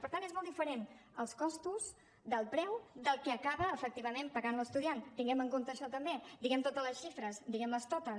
per tant són molt diferents els costos del preu del que acaba efectivament pagant l’estudiant tinguem en compte això també diguem totes les xifres diguem les totes